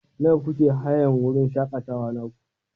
Nawa kuke hayan wurin shakatawa naku?